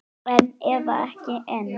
Einn eða ekki einn.